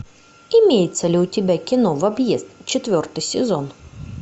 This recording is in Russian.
имеется ли у тебя кино в объезд четвертый сезон